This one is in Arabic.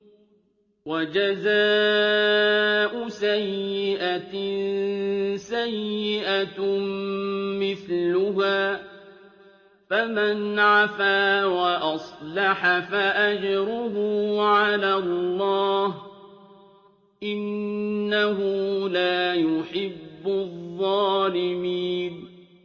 وَجَزَاءُ سَيِّئَةٍ سَيِّئَةٌ مِّثْلُهَا ۖ فَمَنْ عَفَا وَأَصْلَحَ فَأَجْرُهُ عَلَى اللَّهِ ۚ إِنَّهُ لَا يُحِبُّ الظَّالِمِينَ